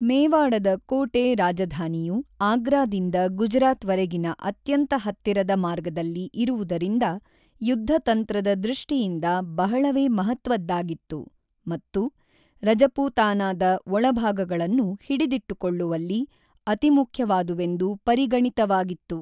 ಮೇವಾಡದ ಕೋಟೆ-ರಾಜಧಾನಿಯು ಆಗ್ರಾದಿಂದ ಗುಜರಾತ್‌ವರೆಗಿನ ಅತ್ಯಂತ ಹತ್ತಿರದ ಮಾರ್ಗದಲ್ಲಿ ಇರುವುದರಿಂದ ಯುದ್ಧತಂತ್ರದ ದೃಷ್ಟಿಯಿಂದ ಬಹಳವೇ ಮಹತ್ವದ್ದಾಗಿತ್ತು ಮತ್ತು ರಜಪೂತಾನಾದ ಒಳಭಾಗಗಳನ್ನು ಹಿಡಿದಿಟ್ಟುಕೊಳ್ಳುವಲ್ಲಿ ಅತಿಮುಖ್ಯವಾದುವೆಂದು ಪರಿಗಣಿತವಾಗಿತ್ತು.